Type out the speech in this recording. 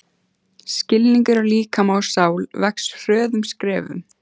Skilningur á líkama og sál vex hröðum skrefum.